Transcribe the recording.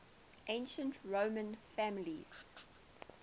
ancient roman families